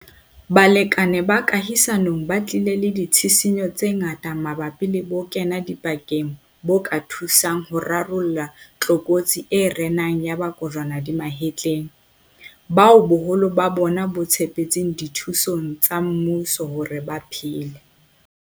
Balekane ba kahisanong ba tlile le ditshisinyo tse ngata mabapi le bokenadipakeng bo ka thusang ho rarolla tlokotsi e renang ya ba kojwana di mahetleng, bao boholo ba bona bo tshepetseng dithusong tsa mmuso hore ba phele.